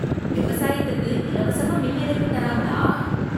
விவசாயத்துக்கு இலவசமாக மின் இணைப்பு தராங்களா!